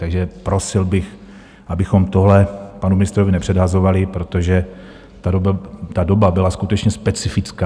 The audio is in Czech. Takže prosil bych, abychom tohle panu ministrovi nepředhazovali, protože ta doba byla skutečně specifická.